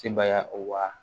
Sebaya o wa